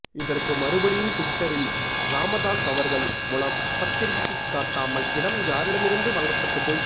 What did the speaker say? இதற்கு மறுபடியும் டிவிட்டரில் இராமதாஸ் அவர்கள் முலப் பத்திரத்தை காட்டாமல் இடம் யாரிடமிருந்து வாங்கப்பட்டது